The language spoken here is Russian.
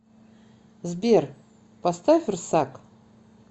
сбер поставь рсак